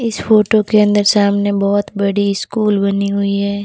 इस फोटो के अन्दर सामने बहोत बड़ी स्कूल बनी हुई है।